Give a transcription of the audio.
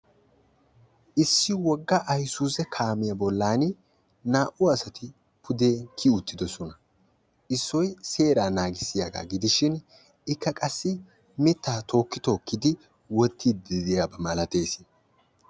Issi wogga ayisuuze kaamiya bollani naa"u asati pude kiyi uttidosona. Issoy seeraa naagissiyaaga gidishin ikka qassi mittaa tookki tookkidi wottiidi diyaba malates.